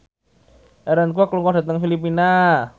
Aaron Kwok lunga dhateng Filipina